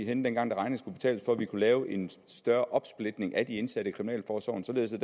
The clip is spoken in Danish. henne dengang regningen skulle betales for at vi kunne lave en større opsplitning af de indsatte i kriminalforsorgen således at